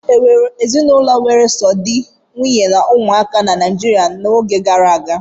Ee, e nwere ezinụlọ were sọsọ di, nwunye na ụmụaka na Naịjirịa n'oge gara aga.